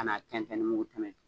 Ka n'a kɛ tɛntɛn ni mugu tɛmɛn